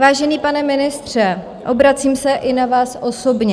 Vážený pane ministře, obracím se i na vás osobně.